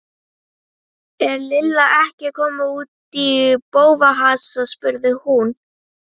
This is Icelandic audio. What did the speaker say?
Er Lilla ekki að koma út í bófahasar? spurði hún.